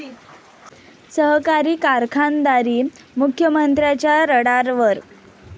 सहकारी कारखानदारी मुख्यमंत्र्यांच्या रडारवर!